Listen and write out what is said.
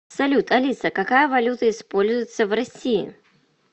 салют алиса какая валюта используется в россии